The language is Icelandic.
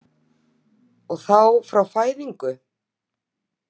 Og þá frá fæðingu?